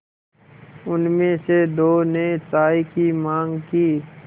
उनमें से दो ने चाय की माँग की